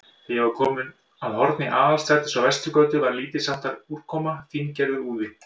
Þegar ég var kominn að horni Aðalstrætis og Vesturgötu, var lítilsháttar úrkoma, fíngerður úði.